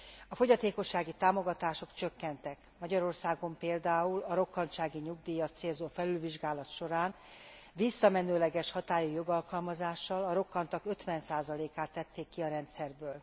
A fogyatékossági támogatások csökkentek, Magyarországon például a rokkantsági nyugdíjat célzó felülvizsgálat során, visszamenőleges hatályú jogalkalmazással a rokkantak 50 át tették ki a rendszerből.